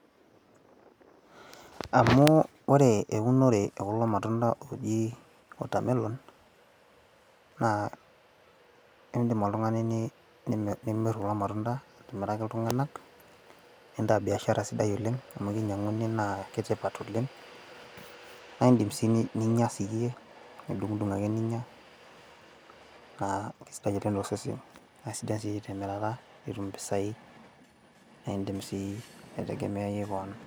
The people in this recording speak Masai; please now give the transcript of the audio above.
amu ore eunore ekulo matunda ooji watermelon, idim oltungani nimir kulo matunda, atiiraki iltunganak nintaa biashara siai oleng. amu kinyianguni, naa kitipat oleng, naa idim sii ninyia siiyie, nidungidung ake ninyia. naa kisidai oleng tosesen, ore temirata kisidai imir nitum impisai aitegemeyaie kewon.